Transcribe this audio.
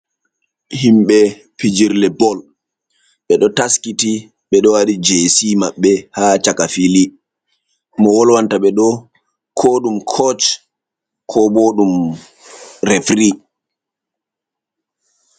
Himɓe pijirle bol ɓe do taskiti be do wati jc maɓɓe ha chaka fili mo wolwanta bedo ko ɗum koch ko ɓo ɗum refiri.